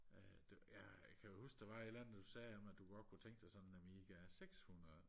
øh ja kan du huske der var et eller andet du sagde med at du godt kunne tænke dig sådan en amiga sekshundrede